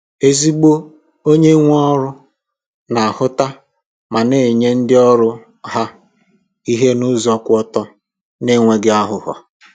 Ezigbo onye na-enye ọrụ na ahụta ma na-enye ndi ọrụ ha ihe n’ụzọ kwụ ọtọ, n’enweghị àghụ̀ghọ.